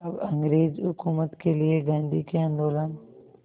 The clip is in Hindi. अब अंग्रेज़ हुकूमत के लिए गांधी के आंदोलन